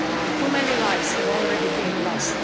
Too many lives have already been lost.